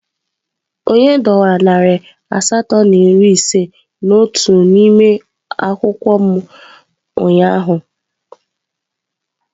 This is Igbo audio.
Onye dọwara narị asatọ na iri ise na otu n'ime akwụkwọ m ụnyaahụ?